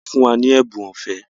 Wọ́n fún wa ní ẹ̀bùn ọ̀fẹ́